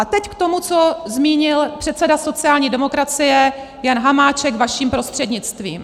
A teď k tomu, co zmínil předseda sociální demokracie Jan Hamáček vaším prostřednictvím.